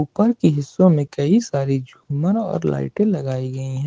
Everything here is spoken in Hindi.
ऊपर के हिस्सों में कई सारी झूमर और लाइटें लगाई गई हैं।